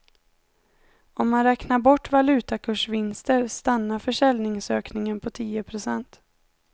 Om man räknar bort valutakursvinster stannar försäljningsökningen på tio procent.